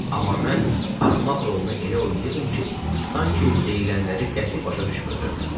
Amma mən axmaq rolunu elə oynayırdım ki, sanki deyilənləri qəti başa düşmürdüm.